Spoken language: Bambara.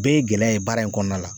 Bɛɛ ye gɛlɛya ye baara in kɔnɔna la